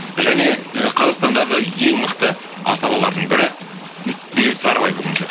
және і қазақстандағы ең мықты асабаларының бірі бейбіт сарыбай бүгін